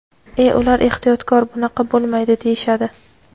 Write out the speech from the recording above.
E ular ehtiyotkor, bunaqa bo‘lmaydi deyishadi.